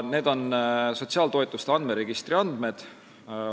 Need on sotsiaaltoetuste andmeregistri andmed.